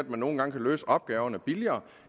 nogle gange kan løse opgaverne billigere